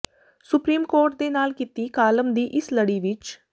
supreme court ਦੇ ਨਾਲ ਕੀਤੀ ਕਾਲਮ ਦੀ ਇਸ ਲੜੀ ਵਿਚ